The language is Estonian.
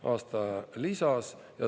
aasta lisas.